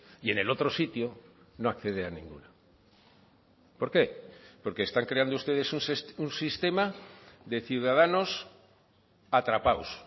y en el otro sitio no accede a ninguna por qué porque están creando ustedes un sistema de ciudadanos atrapados